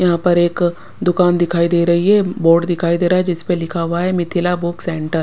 यहाँ पर एक दुकान दिखाई दे रही है बोर्ड दिखाई दे रहा है जिस पर लिखा हुआ है मिथिला बुक सेंटर ।